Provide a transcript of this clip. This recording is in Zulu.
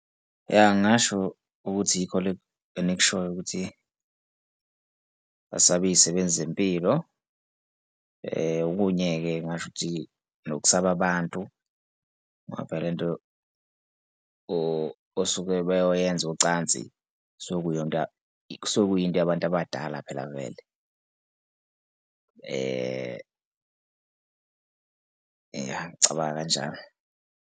Ya, ngingasho ukuthi iy'kole ezikushoyo ukuthi basaba iy'sebenzi zempilo. Okunye-ke ngingasho ukuthi nokusaba abantu ngoba phela le nto osuke bayoyenza ucansi kusuke kuyinto kusuke kuyinto yabantu abadala phela vele ngicabanga kanjalo.